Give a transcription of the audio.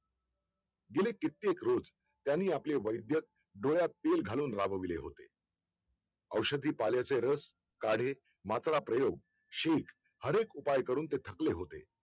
गेली कित्येक रोज त्यांनी आपले वैद्य डोळ्यात तेल घालून राबिवले होते औषधी पाल्याचे रस काडे मात्रा प्रयोग शिंक अनेक उपाय करून ते थकले होते